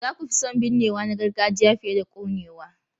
Za ku fi son binnewa na gargajiya fiye da konewa?